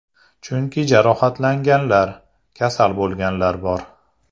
Chunki jarohatlanganlar, kasal bo‘lganlar bor.